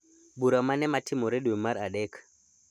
Bura mane matimore dwe mar adek